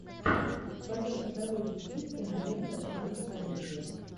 в твоем каталоге есть кинолента жанр комедия